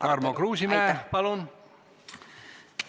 Tarmo Kruusimäe, palun!